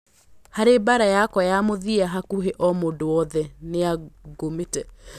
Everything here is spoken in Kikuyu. Harĩ mbara yakwa ya mũthia hakũhĩ o mũndũ wothe nĩangũmĩte